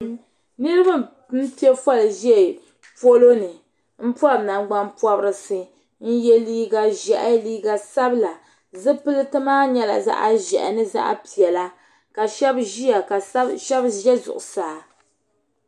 Niriba n piɛ foolii ʒɛ polo ni n pɔbi nangbanpɔbirisi n yɛ liiga ʒiɛhi liiga sabila zipiliti maa nyɛla zaɣa ʒiɛhi ni zaɣa piɛla ka shɛba ʒiya ka shɛba ʒɛ zuɣusaa.